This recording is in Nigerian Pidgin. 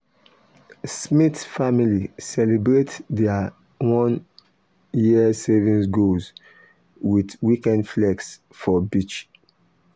smith family celebrate their one-year savings goal with weekend flex for beach.